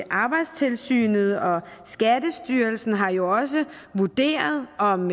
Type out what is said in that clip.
arbejdstilsynet og skattestyrelsen har jo også vurderet om